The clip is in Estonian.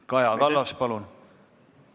Kaja Kallas, palun!